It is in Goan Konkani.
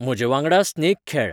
म्हजेवांगडा स्नेक खेळ